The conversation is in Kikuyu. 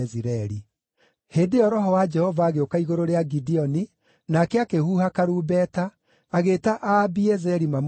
Hĩndĩ ĩyo Roho wa Jehova agĩũka igũrũ rĩa Gideoni, nake akĩhuha karumbeta, agĩĩta Aabiezeri mamũrũmĩrĩre.